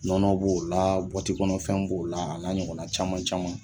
Nɔnɔ b'o la bɔti kɔnɔ fɛn b'o la a la ɲɔgɔna caman camanw.